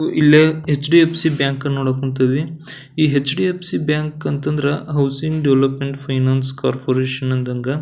ಇಲ್ಲೆ HDFC bank ಅನ್ನು ನೋಡಾಕ ಕುಂತಿದೀವಿ ಈ ಹೆಚ್.ಡಿ.ಎಫ್.ಸಿ ಬ್ಯಾಂಕ್ ಅಂತ ಅಂದ್ರ ಹೌಸಿಂಗ್ ಡೆವೊಲೊಪ್ಮೆಂಟ್ ಫೈನೇನ್ಸ್ ಕೋರ್ಪೊರೇಷನ್ ಅಂದಂಗ .